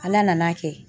Ala nan'a kɛ